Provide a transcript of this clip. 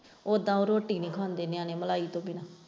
ਉਦਾਂ ਇਹ ਰੋਟੀ ਨਹੀਂ ਖਾਂਦੇ ਨਿਆਣੇ ਮਲਾਈ ਤੋਂ ਬਿਨਾਂ।